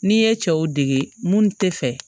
N'i ye cɛw dege mun tɛ fɛ